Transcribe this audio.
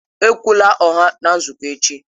Ekwula ụgha na nzukọ echi!